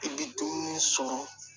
I bɛ dumuni sɔrɔ